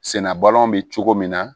Senna balɔn bɛ cogo min na